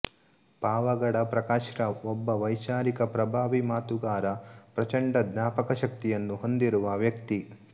ಪಾವಗಡ ಪ್ರಕಾಶ್ ರಾವ್ ಒಬ್ಬ ವೈಚಾರಿಕ ಪ್ರಭಾವಿ ಮಾತುಗಾರ ಪ್ರಚಂಡ ಜ್ಞಾಪಕ ಶಕ್ತಿಯನ್ನು ಹೊಂದಿರುವ ವ್ಯಕ್ತಿ